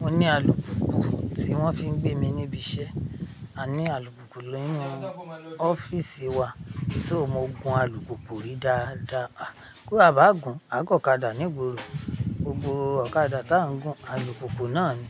Mo ní alùpùpù tí wọ́n fi ń gbé mi níbi iṣẹ́, a ní alùpùpù lẹ́yìn ọ́fíìsì wa, so mo gùn alùpùpù rìí dáadáa, kó a bá gùn, á gọ̀kádà. Ní gbogbo òkàdà tá ń gùn alùpùpù náà ni,